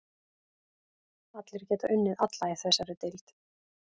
Allir geta unnið alla í þessari deild.